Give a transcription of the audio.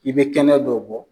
I be kɛnɛ dɔw bɔ